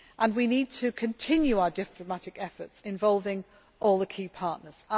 We need to continue our diplomatic efforts involving all the key partners.